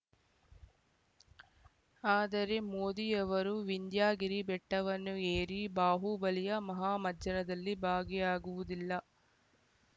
ಆದರೆ ಮೋದಿಯವರು ವಿಂಧ್ಯಗಿರಿ ಬೆಟ್ಟವನ್ನು ಏರಿ ಬಾಹುಬಲಿಯ ಮಹಾಮಜ್ಜನದಲ್ಲಿ ಭಾಗಿಯಾಗುವುದಿಲ್ಲ